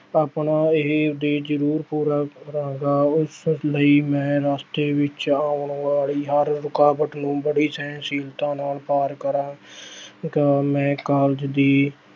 ਆਪਣਾ ਇਹ ਉਦੇਸ਼ ਜ਼ਰੂਰ ਪੂਰਾ ਕਰਾਂਗਾ, ਉਸ ਲਈ ਮੈਂ ਰਾਸਤੇ ਵਿੱਚ ਆਉਣ ਵਾਲੀ ਹਰ ਰੁਕਾਵਟ ਨੂੰ ਬਵੀ ਸਹਿਣਸ਼ੀਲਤਾ ਨਾਲ ਪਾਰ ਕਰਾਂ ਗਾ ਮੈਂ college ਦੀ